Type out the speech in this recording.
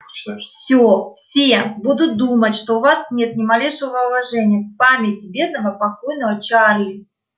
всё все будут думать что у вас нет ни малейшего уважения к памяти бедного покойного чарли